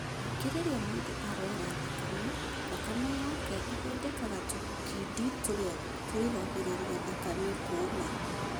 Kaingĩ, rĩrĩa mũndũ araura thakame, thakame yaku ĩthondekaga tũkindi tũrĩa tũrigagĩrĩria thakame kuuma.